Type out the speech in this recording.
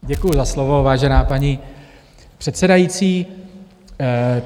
Děkuji za slovo, vážená paní předsedající.